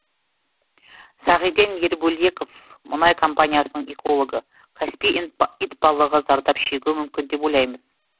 сағиден ербөлеков мұнай компаниясының экологы каспий итбалығы зардап шегуі мүмкін деп ойлаймыз